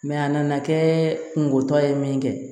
a nana kɛ kungo tɔ ye min kɛ